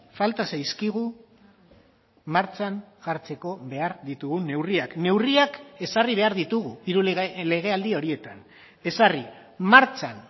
falta zaizkigu martxan jartzeko behar ditugun neurriak neurriak ezarri behar ditugu hiru legealdi horietan ezarri martxan